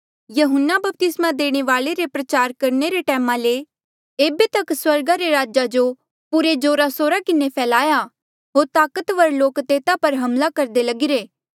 यहून्ना बपतिस्मा देणे वाल्ऐ रे प्रचार करणे रे टैमा ले एेबे तक स्वर्ग रे राज पुरे जोरा सोरा किन्हें फैल्या होर ताकतवर लोक तेता पर हमला करदे लगिरे